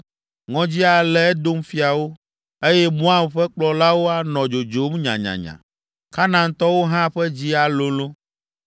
Ŋɔdzi alé Edom fiawo, eye Moab ƒe kplɔlawo anɔ dzodzom nyanyanya, Kanaantɔwo hã ƒe dzi alolõ.